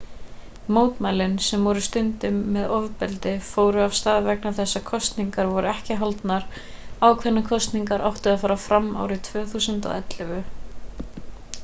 mótmælin sem voru stundum með ofbeldi fóru af stað vegna þess að kosningar voru ekki haldnar ákveðnar kosningar áttu að fara fram árið 2011